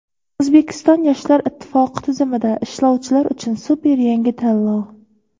O‘zbekiston yoshlar ittifoqi tizimida ishlovchilar uchun super yangi tanlov.